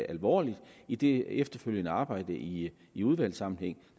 alvorligt i det efterfølgende arbejde i i udvalgssammenhæng